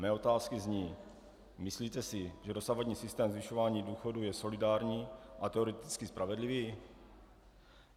Mé otázky zní: Myslíte si, že dosavadní systém zvyšování důchodů je solidární a teoreticky spravedlivý?